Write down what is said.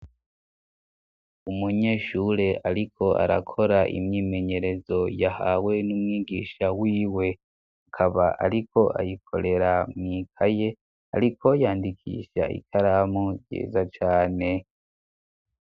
Umunyeshure, ariko arakora imyimenyerezo yahawe n'umwigisha wiwe, akaba ariko ayikorera mw'ikaye, ariko yandikisha ikaramu ryiza cane.